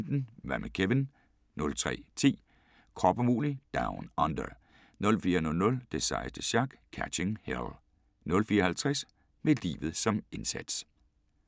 01:15: Hvad med Kevin? 03:10: Krop umulig Down Under 04:00: Det sejeste sjak – Catching Hell 04:50: Med livet som indsats